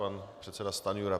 Pan předseda Stanjura.